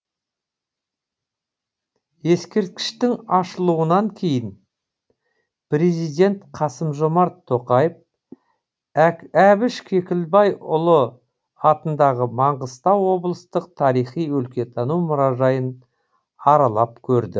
ескерткіштің ашылуынан кейін президент қасым жомарт тоқаев әбіш кекілбайұлы атындағы маңғыстау облыстық тарихи өлкетану мұражайын аралап көрді